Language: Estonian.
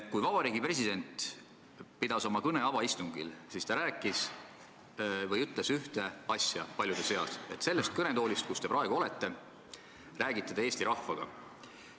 Kui president pidas avaistungil kõne, siis ta ütles paljude asjade seas seda: sellest kõnetoolist, kus ta praegu on, räägitakse Eesti rahvaga.